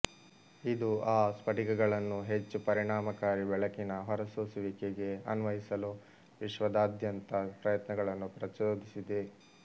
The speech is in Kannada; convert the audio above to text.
ಇದು ಆ ಸ್ಫಟಿಕಗಳನ್ನು ಹೆಚ್ಚು ಪರಿಣಾಮಕಾರಿ ಬೆಳಕಿನ ಹೊರಸೂಸುವಿಕೆಗೆ ಅನ್ವಯಿಸಲು ವಿಶ್ವಾದ್ಯಂತದ ಪ್ರಯತ್ನಗಳನ್ನು ಪ್ರಚೋದಿಸಿದೆ